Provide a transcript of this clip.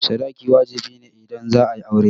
Sadaki wajibi ne idan za'a yi aure.